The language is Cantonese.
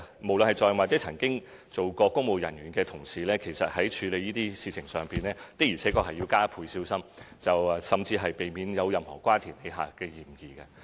無論是在任或曾任職公務人員的同事，其實在處理這些事情上，的確要加倍小心，甚至避免有任何瓜田李下的嫌疑。